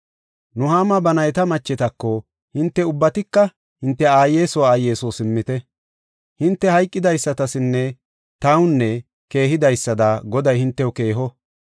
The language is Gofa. Nuhaama ba nayta machetako, “Hinte ubbatika hinte aaye soo, aaye soo simmite. Hinte hayqidaysatasinne taw keehidaysada Goday hintew keeho.